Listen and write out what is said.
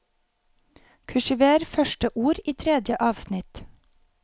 Kursiver første ord i tredje avsnitt